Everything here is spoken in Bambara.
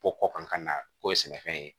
Ko kɔ kan ka na k'o ye sɛnɛfɛn ye